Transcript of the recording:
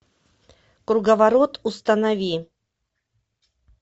круговорот установи